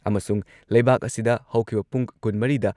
ꯑꯃꯁꯨꯡ ꯂꯩꯕꯥꯛ ꯑꯁꯤꯗ ꯍꯧꯈꯤꯕ ꯄꯨꯡ ꯀꯨꯟꯃꯔꯤꯗ